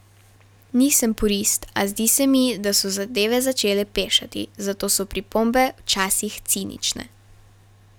Nisem purist, a zdi se mi, da so zadeve začele pešati, zato so pripombe včasih cinične.